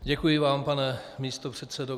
Děkuji vám, pane místopředsedo.